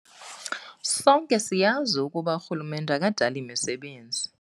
"Sonke siyazi ukuba urhulumente akadali misebenzi."